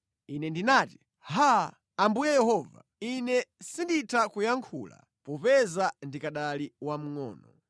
Ine ndinati, “Haa! Ambuye Yehova, ine sinditha kuyankhula; popeza ndikanali wamngʼono.”